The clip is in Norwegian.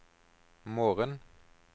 morgen